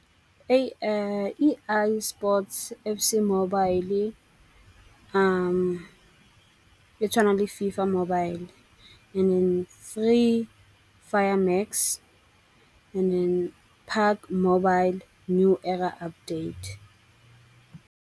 EI Sports FC Mobile e tshwana le FIFA Mobile and Free Fire Max and then Pac mobile new era update.